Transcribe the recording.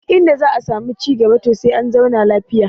Duk inda za a samu ci cigaba to sai an zauna lafiya